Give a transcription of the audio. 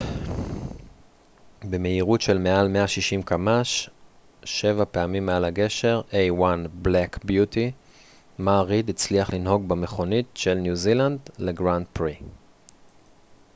מר ריד הצליח לנהוג במכונית של ניו זילנד לגרנד פרי a1 black beauty במהירות של מעל 160 קמ ש שבע פעמים מעל הגשר